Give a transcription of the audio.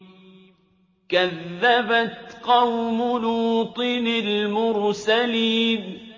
كَذَّبَتْ قَوْمُ لُوطٍ الْمُرْسَلِينَ